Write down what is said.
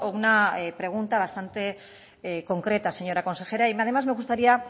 una pregunta bastante concreta señora consejera y además me gustaría